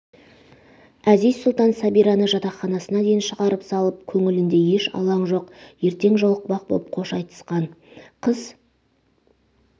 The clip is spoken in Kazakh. әзиз-сұлтан сәбираны жатақханасына дейн шығарып салған көңілінде еш алаң жоқ ертең жолықпақ боп қош айтысқан қыз